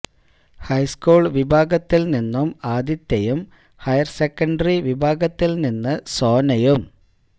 high school വിഭാഗത്തിൽ നിന്നും ആതിഥ്യയും ഹയർ സെക്കൻഡറി വിഭാഗത്തിൽ നിന്നും സോനയും